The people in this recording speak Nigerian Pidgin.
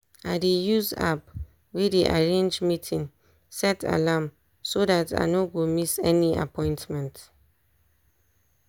i dey use app wey dey arrange meeting set alarm so dat i no go miss any appointment.